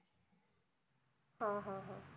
हा हा हा.